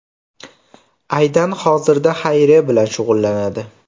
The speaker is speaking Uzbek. Aydan hozirda xayriya bilan shug‘ullanadi.